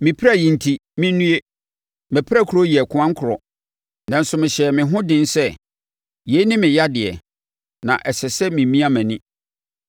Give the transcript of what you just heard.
Me pira yi enti mennue; mʼapirakuro yɛ koankorɔ! Nanso mehyɛɛ me ho den sɛ, “Yei ne me yadeɛ, na ɛsɛ sɛ memia mʼani.”